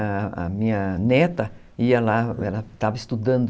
A minha neta ia lá, ela estava estudando